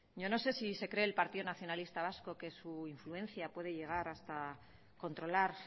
yo no sé si se cree el partido nacionalista vasco que su influencia puede llegar hasta controlar